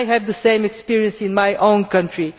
I have the same experience in my own country.